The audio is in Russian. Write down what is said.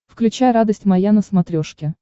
включай радость моя на смотрешке